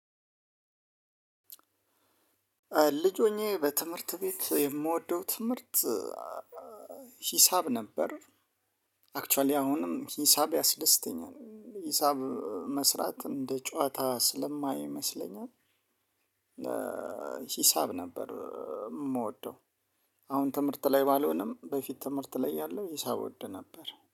ልጅ ሁኜ በትምህርት ቤት የምወደው ትምህርት ሂሳብ ነበር። አክችዋሊ አሁንም ሂሳብ ያስደስተኛል ሂሳብ መስራት እንደ ጨዋታ ስለማይመስለኝ። ነው ሂሳብ ነበር የምወደው። አሁን ትምህርት ላይ ባልሆንም በፊት ትምህርት ላይ ያለው ሂሳብ እወድ ነበር